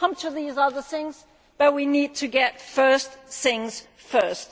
We will come back to these other things, but we need to do the first things first.